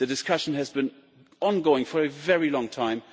The discussion has been ongoing for a very long time.